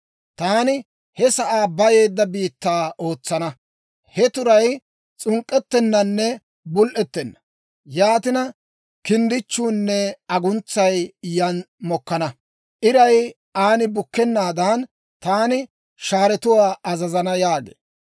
Taani he sa'aa bayeedda biittaa ootsana. He turay s'unk'k'ettennanne bul"ettenna; yaatina, kinddichchuunne aguntsay yan mokkana. Iray aan bukkennaadan, taani shaaretuwaa azazana» yaageedda.